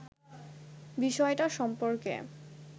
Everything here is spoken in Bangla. বিষয়টা সম্পর্কে